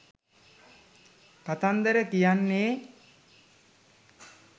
කතන්දර කියන්නේ